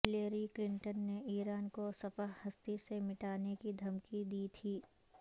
Hillary Clinton نےایران کو صفحہ ہستی سے مٹانے کی دھمکی دی تھی